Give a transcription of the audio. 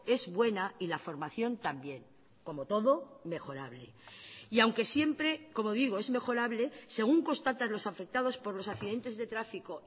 es buena y la formación también como todo mejorable y aunque siempre como digo es mejorable según constata los afectados por los accidentes de tráfico